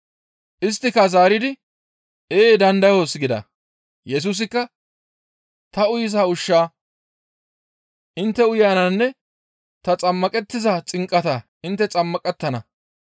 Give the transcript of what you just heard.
Isttika zaaridi, «Ee, dandayoos» gida. Yesusikka, «Ta uyiza ushshaa intte uyananne ta xammaqettiza xinqataa intte xammaqettana.